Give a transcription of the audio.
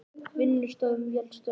Vinnustöðvun vélstjóra hjá Hafró